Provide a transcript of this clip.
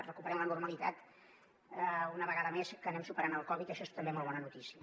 recuperem la normalitat una vegada més que anem superant el covid dinou això és també molt bona notícia